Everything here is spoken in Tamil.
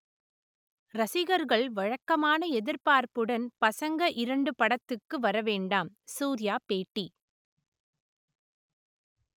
ரசிகர்கள் வழக்கமான எதிர்பார்ப்புடன் பசங்க இரண்டு படத்துக்கு வர வேண்டாம் சூர்யா பேட்டி